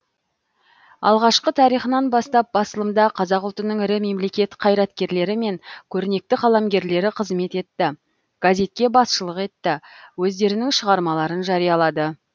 алғашқы тарихынан бастап басылымда қазақ ұлтының ірі мемлекет қайраткерлері мен көрнекті қаламгерлері қызмет етті газетке басшылық етті өздерінің шығармаларын жариялады